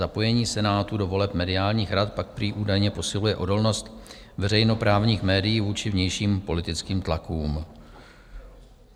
Zapojení Senátu do voleb mediálních rad pak prý údajně posiluje odolnost veřejnoprávních médií vůči vnějším politickým tlakům.